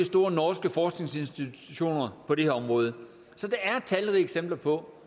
store norske forskningsinstitutioner på det her område så der er talrige eksempler på